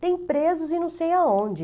Tem presos em não sei aonde.